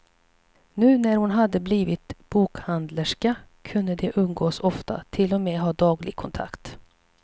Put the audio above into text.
Nu när hon hade blivit bokhandlerska kunde de umgås ofta, till och med ha daglig kontakt.